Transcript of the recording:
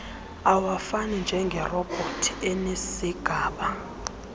awafani njengerobhothi enezigaba